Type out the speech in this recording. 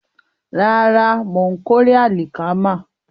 Bẹ́ẹ̀ni, mò ń kórè àlìkámà